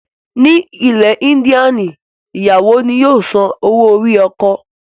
Ní ilẹ̀ Índíànì ìyàwó ni yóò san owó orí ọkọ.